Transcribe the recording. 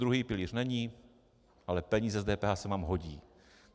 Druhý pilíř není, ale peníze z DPH se vám hodí.